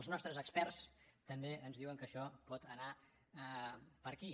els nostres experts també ens diuen que això pot anar per aquí